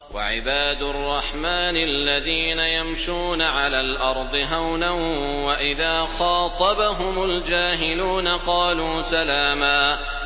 وَعِبَادُ الرَّحْمَٰنِ الَّذِينَ يَمْشُونَ عَلَى الْأَرْضِ هَوْنًا وَإِذَا خَاطَبَهُمُ الْجَاهِلُونَ قَالُوا سَلَامًا